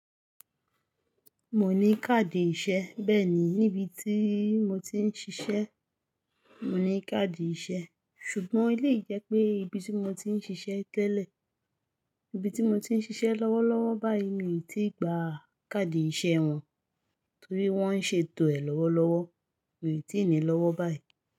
Mo ní káàdì ìṣe. Bẹ́ẹ̀ ni, níbi tí mo ti ń ṣiṣẹ́, mo ní káàdì ìṣe. Ṣùgbọ́n eleyii je pé ìbí tí mo ti ń ṣiṣẹ́ tẹ́lẹ̀, ìbí tí mo ti ń ṣiṣẹ́ lọ́wọ́lọ́wọ́ báyìí mi ò tíì gba káàdì ìṣe wọn torí wọ́n ń ṣètò ẹ̀ lọ́wọ́lọ́wọ́, mi ò tíì nílọ́wọ́ báyìí.